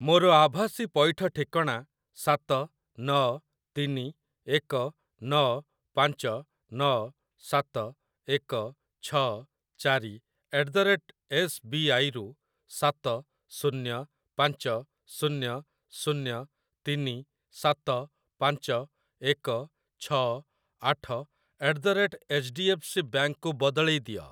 ମୋର ଆଭାସୀ ପଇଠ ଠିକଣା ସାତ ନଅ ତିନି ଏକ ନଅ ପାଞ୍ଚ ନଅ ସାତ ଏକ ଛଅ ଚାରି at the rate S B I ରୁ ସାତ ଶୂନ୍ୟ ପାଞ୍ଚ ଶୂନ୍ୟ ଶୂନ୍ୟ ତିନି ସାତ ପାଞ୍ଚ ଏକ ଛଅ ଆଠ at the rate H D F C bank କୁ ବଦଳେଇ ଦିଅ।